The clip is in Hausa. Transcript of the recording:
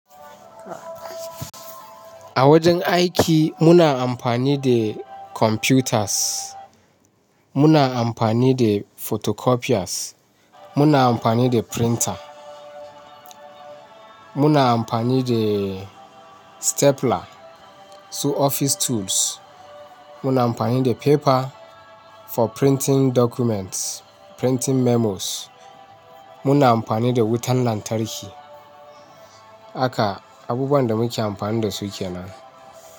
A wajen aiki muna amfani da computers, muna amfani da photocopiers, muna amfani da printer, muna amfani da stapler, su office tools. Muna amfani da paper for printing documents, printing memos. Muna amfani da wutan lantarki. Haka abubuwan da muke amfani da su kenan.